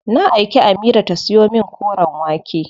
Na aiki Amira ta siyo min koren wake.